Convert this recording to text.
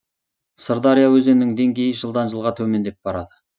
сырдария өзенінің деңгейі жылдан жылға төмендеп барады